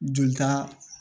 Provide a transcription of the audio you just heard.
Jolita